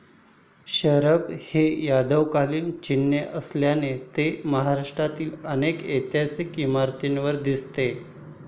शरभ हे यादवकालीन चिन्ह असल्याने ते महाराष्ट्रातही अनेक ऐतिहासिक इमारतीवर दिसते.